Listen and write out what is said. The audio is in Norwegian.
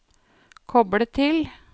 koble til